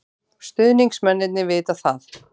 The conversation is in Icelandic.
Stuðningsmennirnir vita það.